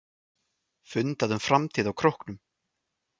Fundað um framtíð á Króknum